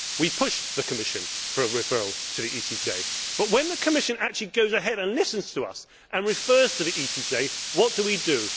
We pushed the Commission for a referral to the ECJ but, when the Commission actually goes ahead and listens to us and refers to the ECJ, what do we